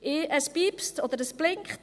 Es piepst, oder es blinkt.